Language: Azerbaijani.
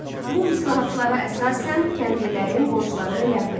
Bu islahatlara əsasən kəndlilərin borcları ləğv edildi.